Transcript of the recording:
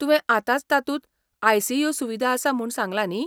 तुवें आतांच तातूंत आय.सी.यू. सुविदा आसा म्हूण सांगला न्ही.